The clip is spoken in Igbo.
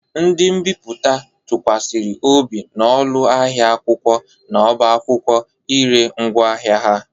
Ndi mbiputa tụkwasịrị obi na ụlọ ahịa akwụkwọ na ọbá akwụkwọ i ree ngwaahịa ha.